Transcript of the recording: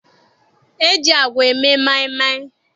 E ji agwa eme maịmaị.